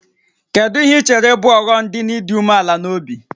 Kedu ihe i chere bụ ọghọm dị n'ịdị umeala n'obi?